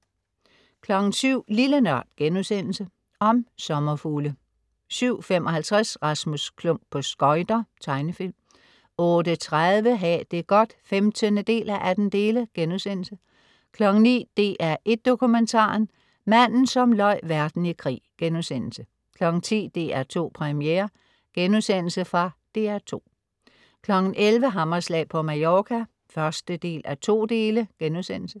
07.00 Lille NØRD.* Om sommerfugle 07.55 Rasmus Klump på skøjter. Tegnefilm 08.30 Ha' det godt 15:18* 09.00 DR1 Dokumentaren: Manden som løj verden i krig* 10.00 DR2 Premiere.* Fra DR2 11.00 Hammerslag på Mallorca 1:2*